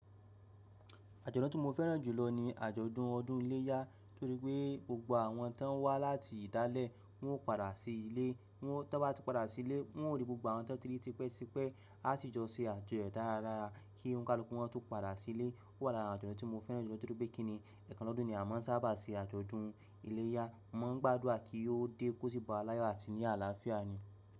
Àjọ̀dún tí mo fẹ́ràn jùlọ ni àjọ̀dún ọdún iléyá, torí pé gbogbo àwọn tó ń wá láti ìdálẹ̀ wọn ó padà sí ilé. Wọn tó bá ti padà sí ilé, wọ́n ó rí gbogbo àwọn tó ti rí tipẹ́tipẹ́ a ti jọ ṣe àjọyọ̀ dáradára. Kí oníkálukú wọn tó padà sí ilé. Ó wà lára àjọ̀dún tí mo fẹ́ràn jùlọ torí pé kíni, ẹ̀ẹ̀kan lọ́dún ni a máa ń sábà ṣe àjọ̀dún iléyá. A máa ń gbádùrà kí yóò dé kó síbàá láyọ̀ àti ní àlàáfíà ni.